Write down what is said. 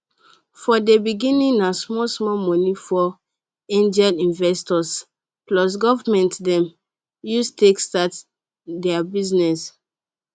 for dey beginning na small small money for angel investors plus government dem use take start dey business